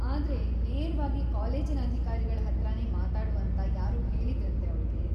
ಆದ್ರೆ, ನೇರವಾಗಿ ಕಾಲೇಜಿನ ಅಧಿಕಾರಿಗಳ ಹತ್ರನೇ ಮಾತಾಡು ಅಂತ ಯಾರೋ ಹೇಳಿದ್ರಂತೆ ಅವ್ಳಿಗೆ.